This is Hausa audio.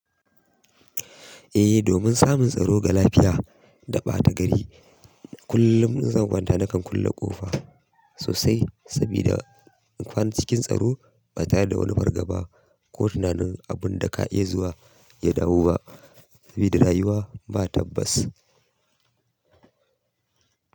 Eh, domin samun tsaro ga lafiya da ɓata gari, kullum zan kwanta nakan kulle ƙofa sosai sabida inkwana cikin tsaro ba ta da wani fargaba ko tunanin abunda ka iya zuwa ya dawo ba sabida rayuwa ba tabbas.